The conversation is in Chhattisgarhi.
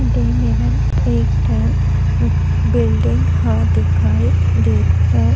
दे मेरन एक ठन बिल्डिंग ह दिखाई देत हे--